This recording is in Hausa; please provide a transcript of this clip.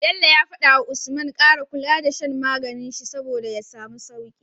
Bello yace wa usman kara kula da shan maganin shi saboda ya samu sauki